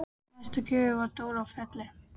Í næstu gryfju var Dóra í Felli.